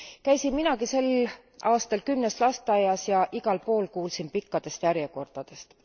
Käisin minagi sel aastal kümnes lasteaias ja igal pool kuulsin pikkadest järjekordadest.